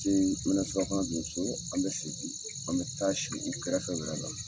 me na surafana dun so. An bɛ segin, an bɛ taa si u kɛrɛfɛ, wɛrɛ la.